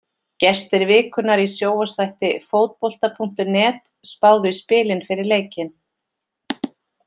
Gestir vikunnar í sjónvarpsþætti Fótbolta.net spáðu í spilin fyrir leikinn.